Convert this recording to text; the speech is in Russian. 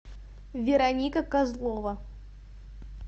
вероника козлова